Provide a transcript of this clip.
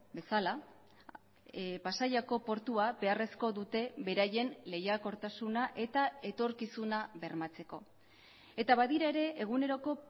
bezala pasaiako portua beharrezko dute beraien lehiakortasuna eta etorkizuna bermatzeko eta badira ere eguneroko